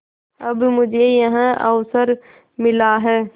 अब मुझे यह अवसर मिला है